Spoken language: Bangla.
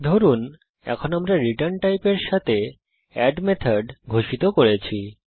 ধরুন এখন আমরা রিটার্ন টাইপের সাথে এড মেথড ঘোষিত করছি